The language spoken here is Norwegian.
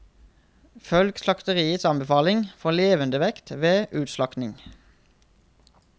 Følg slakteriets anbefaling for levendevekt ved utslakting.